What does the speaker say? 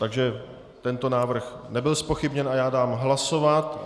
Takže tento návrh nebyl zpochybněn a já dám hlasovat.